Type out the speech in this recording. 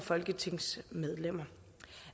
folketingsmedlemmer